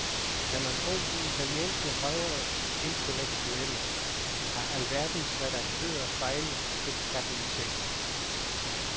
Skal man tro de italienske højreintellektuelle, har alverdens redaktører fejlet og købt katten i sækken.